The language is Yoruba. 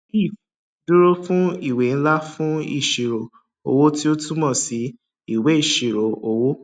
lf dúró fún ìwé ńlá fun ìṣirò owó tí ó túmọ sí ìwé ìṣirò owó